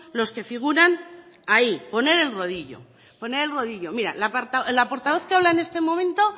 los que figuran ahí poner el rodillo poner el rodillo mire la portavoz que habla en este momento